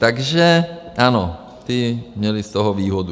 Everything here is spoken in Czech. Takže ano, ti měli z toho výhodu.